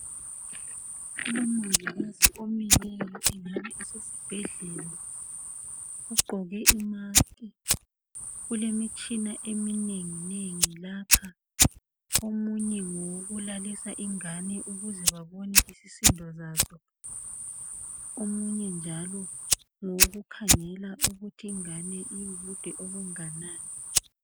Umongikazi omileyo kungabe kusesibhedlela. Ugqoke imusk, kulemitshina eminengi nengi lapha. Omunye ngowokulalisa ingane ukuze babone isisindo sakhe, omunye njalo ngowokukhangela ukuthi ingane ilobude obunganani.